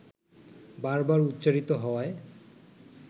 বার বার উচ্চারিত হওয়ায়